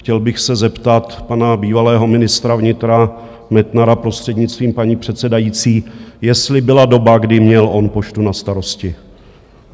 Chtěl bych se zeptat pana bývalého ministra vnitra Metnara, prostřednictvím paní předsedající, jestli byla doba, kdy měl on Poštu na starosti.